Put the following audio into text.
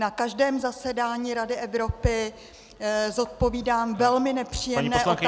Na každém zasedání Rady Evropy zodpovídám velmi nepříjemné otázky -